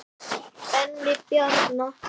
Benni Bjarna.